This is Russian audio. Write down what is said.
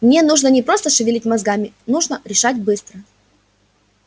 мне нужно не просто шевелить мозгами нужно решать быстро